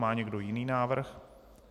Má někdo jiný návrh?